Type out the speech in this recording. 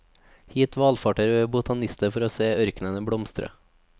Hit valfarter botanister for å se ørkenen blomstre.